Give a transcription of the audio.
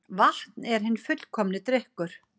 Vatn er hinn fullkomni drykkur